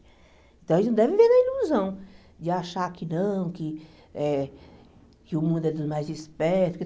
Então, a gente não deve viver na ilusão de achar que não, que eh que o mundo é dos mais espertos.